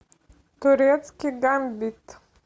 турецкий гамбит